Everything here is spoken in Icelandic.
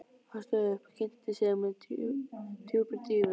Hann stóð upp og kynnti sig með djúpri dýfu.